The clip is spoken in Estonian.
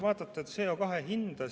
Vaadake CO2 hinda.